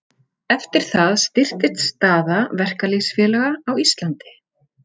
Eftir það styrktist staða verkalýðsfélaga á Íslandi.